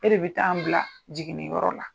E de bɛ taa n bila jiginniyɔrɔ la.